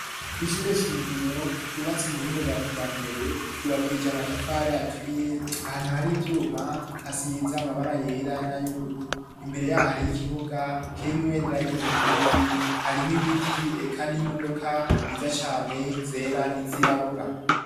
Ishure shingiro ry'ubbatsi mu bhinge bwa kija mbere ryubakije amatafare aturiye ahantu hari ibyuma hasize amabara yera n'ay'ururu imbere yaho hari y'ikibuga kirimwe ibendera ry'uburundi harimw ibiti eka n'imodoka ziza cyane zera n'izirabura.